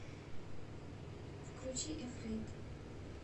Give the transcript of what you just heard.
включи эфрэйд